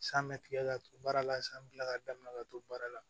San bɛ tigɛ ka don baara la san bɛ kila ka damina ka to baara la